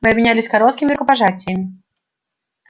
мы обменялись короткими рукопожатиями